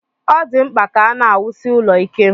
Ọ dị mkpa ka a na-awusie ụlọ ike